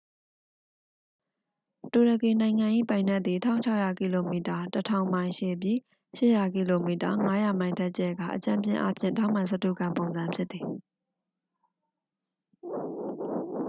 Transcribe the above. တူရကီနိုင်ငံ၏ ပိုင်နက်သည် ၁၆၀၀ ကီလိုမီတာ ၁၀၀၀ မိုင် ရှည်ပြီး ၈၀၀ ကီလိုမီတာ ၅၀၀ မိုင် ထက် ကျယ်ကာ အကြမ်းဖျင်းအားဖြင့် ထောင့်မှန်စတုဂံပုံစံ ဖြစ်သည်။